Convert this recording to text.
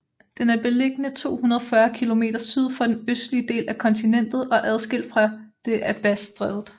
Den er beliggende 240 km syd for den østlige del af kontinentet og adskilt fra det af Bassstrædet